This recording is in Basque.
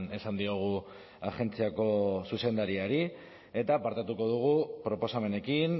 esan diogu agentziako zuzendariari eta parte hartuko dugu proposamenekin